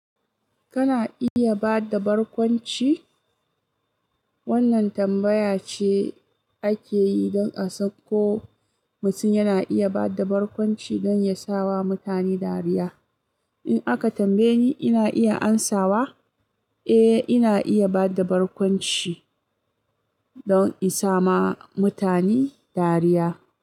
Kana iya bada barkwanci? Wannan tambaya ce ake yi don a san ko mutum yana iya bada barkwanci don ya sawa mutane dariya. In aka tambaye ni, ina iya amsawa, "Eh, ina iya bada barkwanci don in sawa mutane dariya."